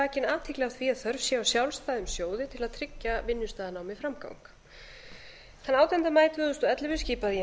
vakin athygli á þörf á sjálfstæðum sjóði til að tryggja vinnustaðanámi framgang þann átjánda maí tvö þúsund og ellefu skipaði ég